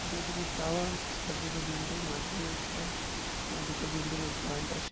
যে দুটো টাওয়ার আর সাইড-এ দুটো বিল্ডিং মাঝখানে একটা অ্যাঁ দুটো বিল্ডিং -এর জয়েন্ট আছে।